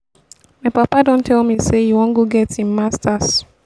my papa don tell me say e wan go get im masters